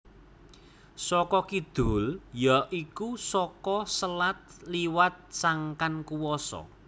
Saka kidul ya iku saka selat liwat sangkan kuwasa